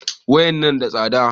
Wayan na da tsada